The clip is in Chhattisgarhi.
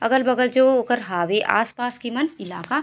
अगल-बगल जो ओकर हावे आसपास के मन इलाका --